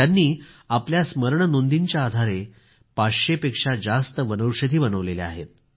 त्यांनी आपल्या स्मरणनोंदींच्या आधारे पाचशेपेक्षा जास्त वनौषधी बनवल्या आहेत